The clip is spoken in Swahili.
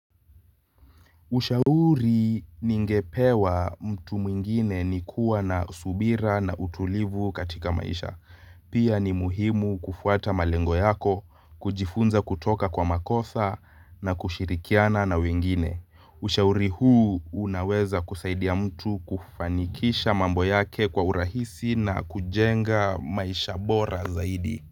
Ushauri ningepewa mtu mwingine ni kuwa na subira na utulivu katika maisha. Pia ni muhimu kufuata malengo yako, kujifunza kutoka kwa makosa na kushirikiana na wengine. Ushauri huu unaweza kusaidia mtu kufanikisha mambo yake kwa urahisi na kujenga maisha bora zaidi.